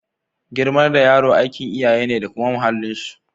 Girmar da yaro aikin iyaye ne da kuma muhallin su.